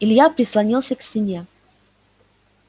илья прислонился к стене